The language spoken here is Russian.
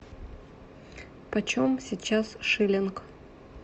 почем сейчас шиллинг